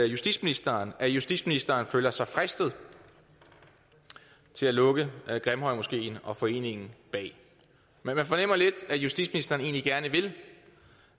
justitsministeren at justitsministeren føler sig fristet til at lukke grimhøjmoskeen og foreningen bag man fornemmer lidt at justitsministeren egentlig gerne vil